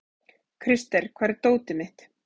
Krister, hvar er dótið mitt?